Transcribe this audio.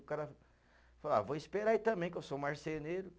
O cara falou, ah, vou esperar aí também, que eu sou marceneiro.